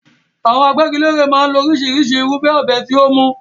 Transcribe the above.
Àwọn agbẹ́gilére máa ń lo oríṣìíríṣìí irúfẹ́ ọ̀bẹ tí ó mú.